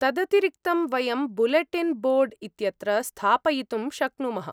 तदतिरिक्तं वयं bulletin board इत्यत्र स्थापयितुं शक्नुमः।